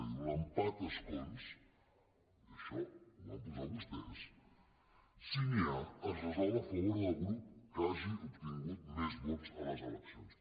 diu l’empat a escons i això ho van posar vostès si n’hi ha es resol a favor del grup que hagi obtingut més vots a les eleccions